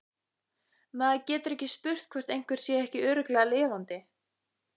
Maður getur ekki spurt hvort einhver sé ekki örugglega lifandi